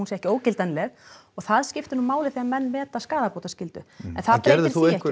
sé ekki ógildanleg það skiptir máli þegar menn meta skaðabótaskyldu en gerðir þú einhver